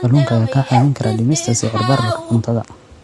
Kalluunka ayaa kaa caawin kara dhimista sicir bararka cuntada.